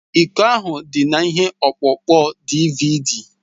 Iko ahụ dị na ihe ọkpụkpọ DịVịDí